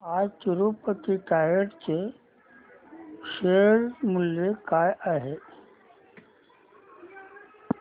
आज तिरूपती टायर्स चे शेअर मूल्य काय आहे